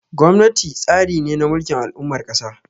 Gwamnati tsari ne na mulkin al'ummar ƙasa.